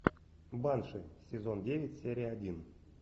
банши сезон девять серия один